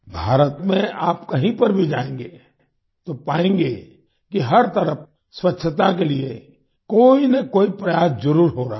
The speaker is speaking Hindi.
भारत में आप कहीं पर भी जाएंगे तो पाएंगे कि हर तरफ स्वछता के लिए कोई न कोई प्रयास जरुर हो रहा है